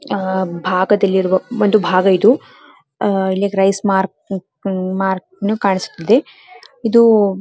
ಆಹ್ಹ್ ಭಾಗದಲ್ಲಿರುವ ಒಂದು ಭಾಗ ಇದು ಇಲ್ಲಿ ರೈಸ್ ಮಾರ್ಕ್ ಕಾಣಿಸುತ್ತಿದೆ ಇದು